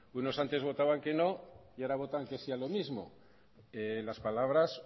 unos antes votaban que no y ahora votan que sí a lo mismo las palabras